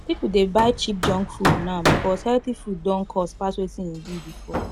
people dey buy cheap junk food now because healthy food don cost pass wetin e be before